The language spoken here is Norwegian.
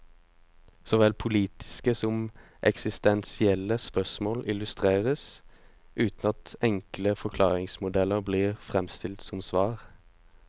Såvel politiske som eksistensielle spørsmål illustreres, uten at enkle forklaringsmodeller blir fremstilt som svar.